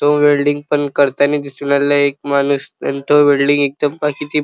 तो वेल्डिंग पण करताना दिसू राहिलाय एक माणूस पण तो वेल्डिंग एकदम --